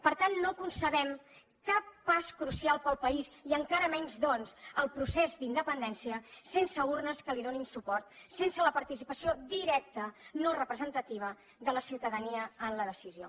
per tant no concebem cap pas crucial per al país i encara menys doncs el procés d’independència sense urnes que hi donin suport sense la participació directa no representativa de la ciutadania en la decisió